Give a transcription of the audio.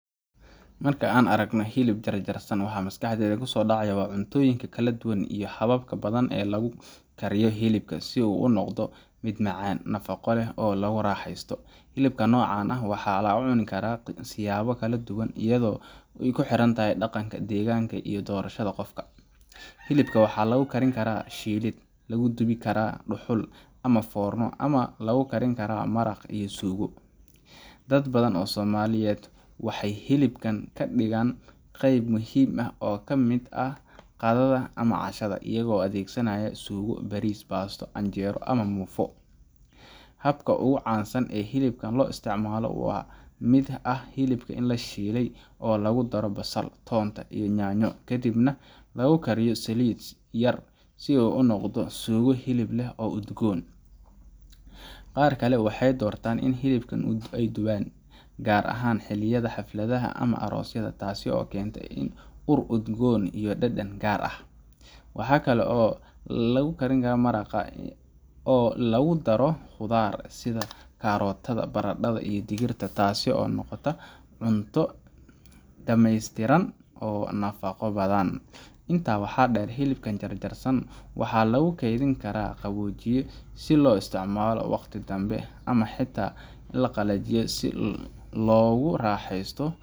Marka aan aragno hilib jarjarsan, waxaa maskaxda ku soo dhacaya cuntooyin kala duwan iyo habab badan oo lagu kariyo hilibka si uu u noqdo mid macaan, nafaqo leh, oo lagu raaxaysto. Hilibka noocan ah waxaa la cuni karaa siyaabo kala duwan iyadoo ku xiran dhaqanka, deegaanka, iyo doorashada qofka. Hilibka waxaa lagu karin karaa shiilid, lagu dubi karaa dhuxul ama foorno, ama lagu kari karaa maraq iyo suugo. Dad badan oo Soomaaliyeed waxay hilibka ka dhigaan qayb muhiim ah oo ka mid ah qadada ama cashada, iyagoo u adeegsanaya suugo, bariis, baasto, canjeero, ama muufo. Habka ugu caansan ee hilibka loo isticmaalo waxaa ka mid ah hilib la shiilay oo lagu daro basal, toonta, iyo yaanyo, kadibna lagu kariyo saliid yar si uu u noqdo suugo hilib leh oo udgoon. Qaar kale waxay doortaan inay hilibka dubaan, gaar ahaan xilliyada xafladaha ama aroosyada, taasoo keenta ur udgoon iyo dhadhan gaar ah. Waxaa kaloo lagu kariyaa maraq, oo lagu daro khudaar sida karootada, baradhada, iyo digirta, taasoo noqota cunto dhameystiran oo nafaqo badan. Intaa waxaa dheer, hilibka jarjarsan waxaa lagu kaydin karaa qaboojiye si loogu isticmaalo waqti danbe, ama xitaa la qalajiyaa si loogu raaxeysto.